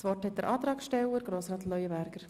Das Wort hat der Antragsteller Grossrat Leuenberger.